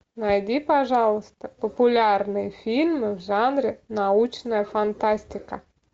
найди пожалуйста популярные фильмы в жанре научная фантастика